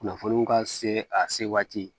Kunnafoniw ka se a se waati